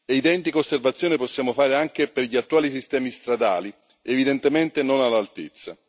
Identiche osservazioni possiamo fare anche per gli attuali sistemi stradali, evidentemente non all'altezza.